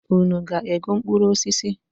Unu ga-ego mkpụrụ osis?